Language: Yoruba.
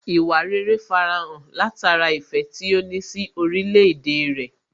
Ìwà rere farahàn látara ìfẹ́ tí ó ní sí orílẹ̀ èdè rẹ̀